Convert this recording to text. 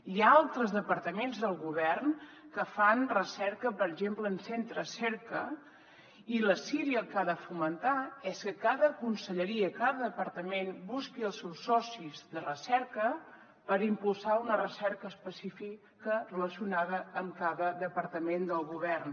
hi ha altres departaments del govern que fan recerca per exemple en centres cerca i la ciri el que ha de fomentar és que cada conselleria cada departament busqui els seus socis de recerca per impulsar una recerca específica relacionada amb cada departament del govern